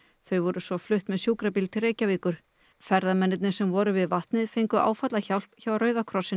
þau voru svo flutt með sjúkrabíl til Reykjavíkur ferðamennirnir sem voru við vatnið fengu áfallahjálp hjá Rauða krossinum